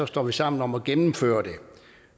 står sammen om at gennemføre det